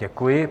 Děkuji.